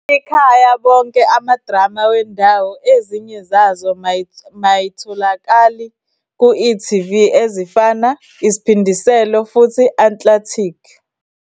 Ikhaya bonke amadrama wendawo ezinye zazo may ayitholakali ku e.tv ezifana Is'phindiselo futhi Atlantic.